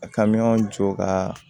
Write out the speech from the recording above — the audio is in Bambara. A ka miyɔn jɔ ka